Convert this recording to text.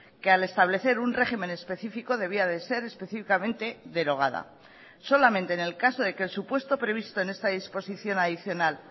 que al establecer un régimen específico debía de ser específicamente derogada solamente en el caso de que el supuesto previsto en esta disposición adicional